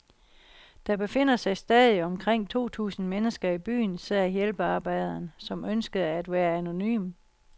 Der befinder sig stadig omkring to tusind mennesker i byen, sagde hjælpearbejderen, som ønskede at være anonym.